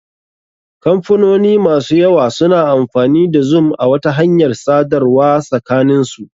Kamfanoni masu yawa suna amfani da zoom a wata hanyar tsadarwa sakanin su.